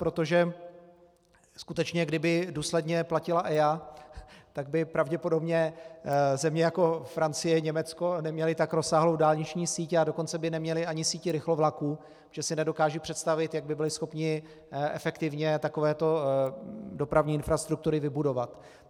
Protože skutečně kdyby důsledně platila EIA, tak by pravděpodobně země jako Francie, Německo neměly tak rozsáhlou dálniční síť, a dokonce by neměly ani síť rychlovlaků, protože si nedokážu představit, jak by byli schopni efektivně takovéto dopravní infrastruktury vybudovat.